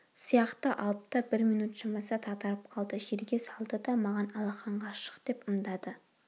сияқты алып та бір минөт шамасы дағдарып қалды жерге салды да маған алақанға шық деп ымдады